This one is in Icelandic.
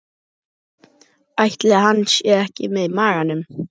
Ætli hann sé ekki með í maganum?